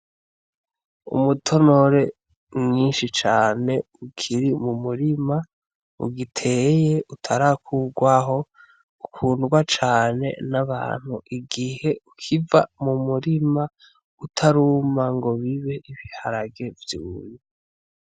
Umutonore mwinshi cane ukiri mu murima ugiteye, utarakurwaho, ukundwa cane n'abantu. Igihe ukiva mu murima utaruma ngo bibe ibiharage vyumye.